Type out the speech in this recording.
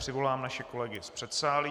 Přivolám naše kolegy z předsálí.